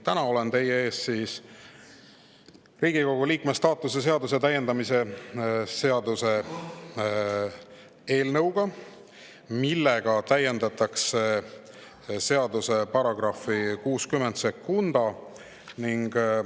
Täna olen teie ees Riigikogu liikme staatuse seaduse täiendamise seaduse eelnõuga, millega täiendatakse seaduse § 602.